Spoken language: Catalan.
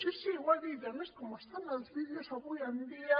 sí sí ho ha dit i a més com estan els vídeos avui en dia